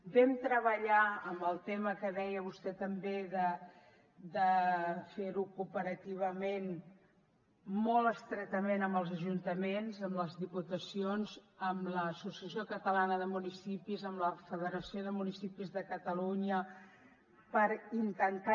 vam treballar en el tema que deia vostè també de fer ho cooperativament molt estretament amb els ajuntaments amb les diputacions amb l’associació catalana de municipis amb la federació de municipis de catalunya per intentar